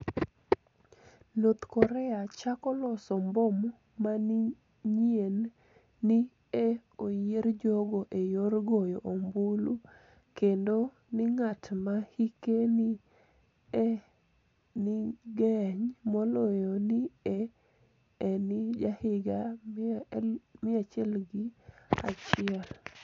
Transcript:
north Korea 'chako loso mbom maniyieni'ni e oyier jogo e yor goyo ombulu, kenido nig'at ma hike ni e nig'eniy moloyo ni e eni jahiginii 101.